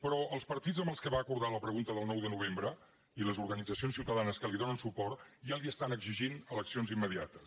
però els partits amb què va acordar la pregunta del nou de novembre i les organitzacions ciutadanes que li donen suport ja li estan exigint eleccions immediates